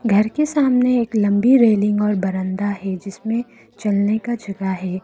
घर के सामने एक लंबी रेलिंग और बरांडा है जिसमें चलने का जगह है।